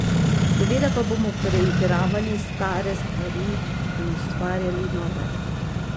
Seveda pa bomo preigravali stare stvari in ustvarjali nove.